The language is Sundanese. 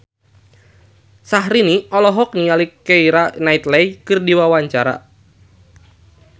Syahrini olohok ningali Keira Knightley keur diwawancara